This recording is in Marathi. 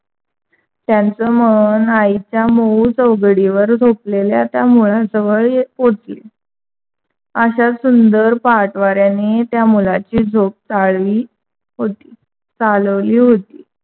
त्यांचा मन आईच्या मऊ चौघडी वर झोपलेल्या त्यामुळे जवळ येऊन पोचले. अशा सुंदर पाहत वाऱ्याने त्या मुलाची झोप चालली चालवली होती.